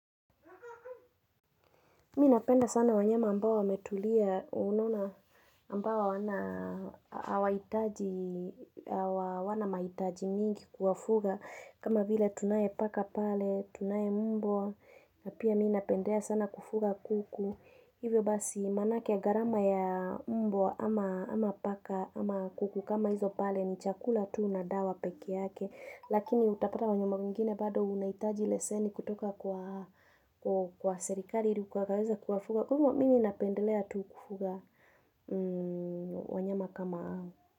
Mimi napenda sana wanyama ambao wametulia, unona ambao hawana hawahitaji hawana mahitaji mingi kuwafuga. Kama vile tunaye paka pale, tunaye mbwa, na pia mimi napendea sana kufuga kuku. Hivyo basi manake gharama ya mbwa ama paka ama kuku kama hizo pale ni chakula tu na dawa peke yake. Lakini utapata kwa wanyama wengine bado unahitaji leseni kutoka kwa kwa serikali ili ukaweze kuwafuga. Kwa hivyo mimi napendelea tu kufuga wanyama kama hao.